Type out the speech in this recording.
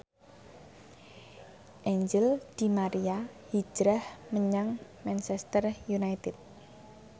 Angel di Maria hijrah menyang Manchester united